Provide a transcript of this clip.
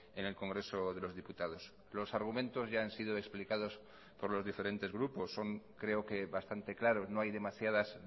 en el congreso de los diputados los argumentos ya han sido explicados por los diferentes grupos son creo que bastante claro no hay demasiadas